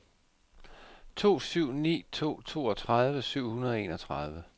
to syv ni to toogtredive syv hundrede og enogtredive